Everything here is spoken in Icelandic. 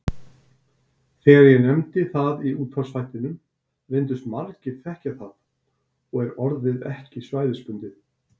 Þegar ég nefndi það í útvarpsþættinum reyndust margir þekkja það og er orðið ekki svæðisbundið.